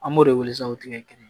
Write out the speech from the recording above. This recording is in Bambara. An b'o de wele sa o tigɛ kelen